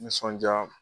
Nisɔndiya